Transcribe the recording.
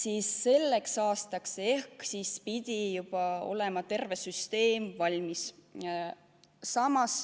Aga selleks aastaks pidi juba terve süsteem valmis olema.